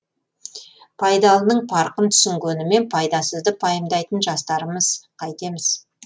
пайдалының парқын түсінгенімен пайдасызды пайымдайтын жастармыз қайтеміз